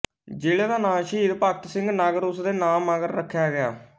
ਜ਼ਿਲ੍ਹੇ ਦਾ ਨਾਂ ਸ਼ਹੀਦ ਭਗਤ ਸਿੰਘ ਨਗਰ ਉਸ ਦੇ ਨਾਮ ਮਗਰ ਰੱਖਿਆ ਗਿਆ ਹੈ